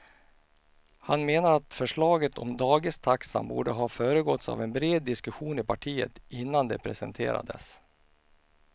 Han menar att förslaget om dagistaxan borde ha föregåtts av en bred diskussion i partiet innan det presenterades.